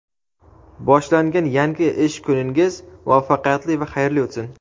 Boshlangan yangi ish kuningiz muvaffaqiyatli va xayrli o‘tsin!.